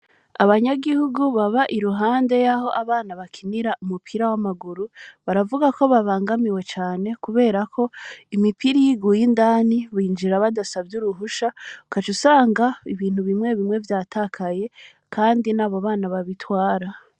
Abanyagihugu, baba irunde y'aho abana bakinira, umupira w'amaguru, baravuga ko babangamiwe cane; kubera ko, imipira, iyo iguye indani, binjira badasavye uruhusha; ukaca usanga, ibintu bimwe bimwe, vyatakaye, kandi, ni abo bana babitwara.